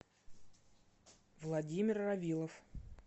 владимир равилов